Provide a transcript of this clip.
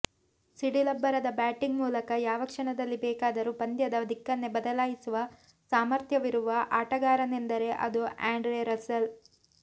ಸಿಡಿಲಬ್ಬರದ batting ಮೂಲಕ ಯಾವ ಕ್ಷಣದಲ್ಲಿ ಬೇಕಾದರೂ ಪಂದ್ಯದ ದಿಕ್ಕನ್ನೇ ಬದಲಾಯಿಸುವ ಸಾಮರ್ಥ್ಯವಿರುವ ಆಟಗಾರನೆಂದರೆ ಅದು ಆ್ಯಂಡ್ರೆ ರಸೆಲ್